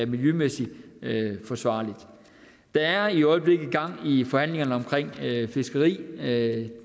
miljømæssigt forsvarligt der er i øjeblikket gang i forhandlingerne om fiskeri